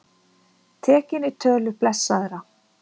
Tekinn í tölu blessaðra